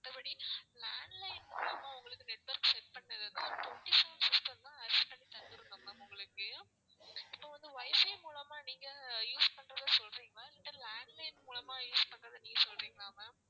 மத்தபடி landline மூலியமா உங்களுக்கு network set பண்ணது வந்து ஒரு twenty seven system தான் access பண்ணி தந்திருந்தோம் ma'am உங்களுக்கு. இப்போ வந்து WIFI மூலமா நீங்க use பண்றத சொல்றீங்களா இல்லன்னா landline மூலமா use பண்றத நீங்க சொல்றீங்களா ma'am